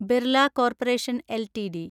Birla corporation LTD